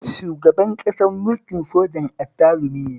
Shugaban ƙasar mukin sojan azzalumi ne